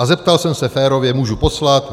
A zeptal jsem se férově: Můžu poslat?